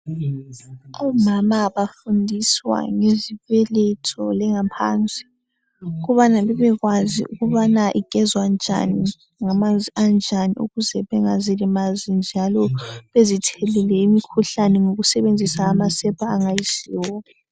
Omama bafundiswa ngezibeletho lengaphansi ukubana libe kwazi ukubana igezwa njani ngamanzi anjani ukuze bengazilimazi njalo bezithelele imikhuhlane ngokusebenzisa amasepa angayisiwo